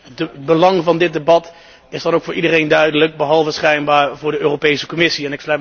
Het belang van dit debat is dan ook voor iedereen duidelijk, behalve schijnbaar voor de Europese Commissie.